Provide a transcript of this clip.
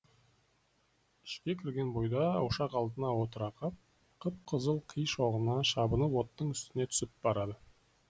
ішке кірген бойда ошақ алдына отыра қап қып қызыл қи шоғына шабынып оттың үстіне түсіп барады